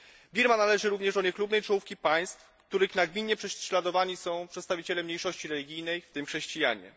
Birma należy również do niechlubnej czołówki państw, w których nagminnie prześladowani są przedstawiciele mniejszości religijnej, w tym chrześcijanie.